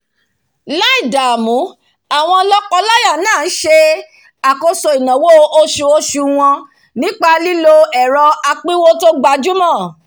láì dààmú àwọn lọ́kọ- láyà náà n se àkóso ìnáwó osuosù wọn nípa lílo ẹ̀rọ apínwó tò gbajúmọ̀